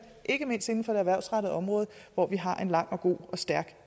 ikke mindst inden for det erhvervsrettede område hvor vi har en lang og god og stærk